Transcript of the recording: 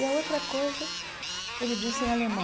E a outra coisa, ele disse em alemão.